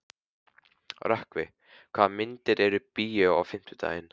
Rökkvi, hvaða myndir eru í bíó á fimmtudaginn?